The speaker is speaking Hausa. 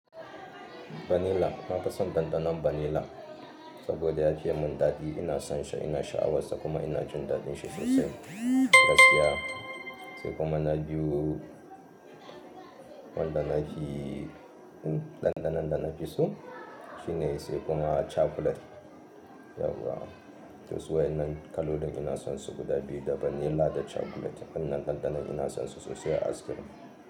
Vanilla, na fi son ɗanɗanon vanilla saboda ya fi mun daɗi. Ina son shi, ina sha'awar sa kuma ina jin daɗin shi sosai. Gaskiya. Sai kuma na biyu, wanda na fi, hmm ɗanɗanon da na fi so shine sai kuma chocolate. Yauwa. To su wai nan kala da ina son su guda biyu da vanilla da chocolate. Annan ɗanɗanon ina son su sosai a ice cream.